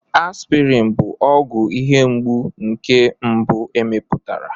Aspirin bụ ọgwụ ihe mgbu nke mbụ e mepụtara.